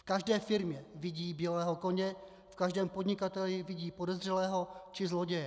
V každé firmě vidí bílého koně, v každém podnikateli vidí podezřelého či zloděje.